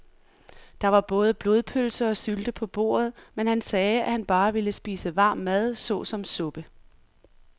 Der var både blodpølse og sylte på bordet, men han sagde, at han bare ville spise varm mad såsom suppe.